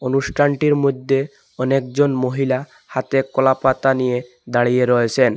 অনুষ্ঠানটির মধ্যে অনেকজন মহিলা হাতে কলাপাতা নিয়ে দাঁড়িয়ে রয়েছেন।